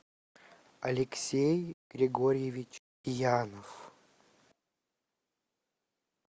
алексей григорьевич янов